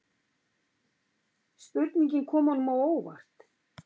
Spurningin kom honum á óvart.